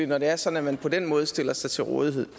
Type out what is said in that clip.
når det er sådan at man på den måde stiller sig til rådighed